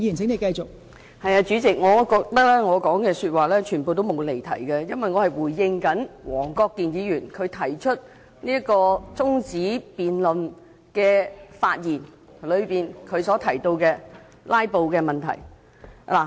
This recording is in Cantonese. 代理主席，我覺得我全部發言均沒有離題，因為我是回應黃國健議員在提出中止待續議案的發言時提到的"拉布"問題。